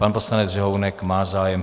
Pan poslanec Řehounek má zájem.